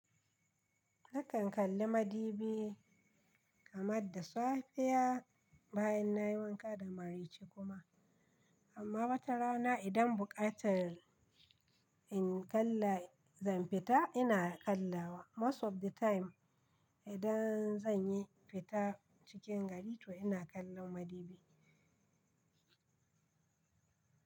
Nakan kalla madubi kamar da safiya bayan nayi wanka da mare ce kuma. Amma wata rana idan buƙatar in kalla zan fita ina kallawa. Most of the time idan zan yi fita cikin gari to ina kallon madubi.